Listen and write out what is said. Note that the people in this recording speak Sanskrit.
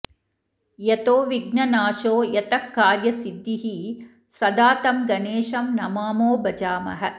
यतो विघ्ननाशो यतः कार्यसिद्धिः सदा तं गणेशं नमामो भजामः